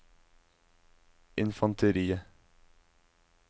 infanteriet